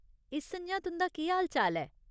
इस स'ञां तुं'दा केह् हाल चाल ऐ ?